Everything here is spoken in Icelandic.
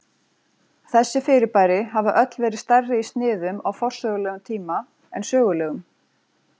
þessi fyrirbæri hafa öll verið stærri í sniðum á forsögulegum tíma en sögulegum